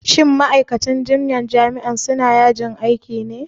shin ma'aikatan jinyan jami'an suna yajin aiki ne ko me?